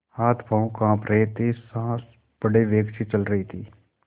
हाथपॉँव कॉँप रहे थे सॉँस बड़े वेग से चल रही थी